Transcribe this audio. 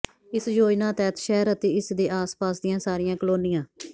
ਇਸ ਯੋਜਨਾ ਤਹਿਤ ਸ਼ਹਿਰ ਅਤੇ ਇਸ ਦੇ ਆਸ ਪਾਸ ਦੀਆਂ ਸਾਰੀਆਂ ਕਲੋਨੀਆਂ